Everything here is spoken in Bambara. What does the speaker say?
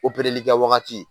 Operelli kɛ wagati